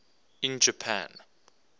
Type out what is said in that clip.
in japan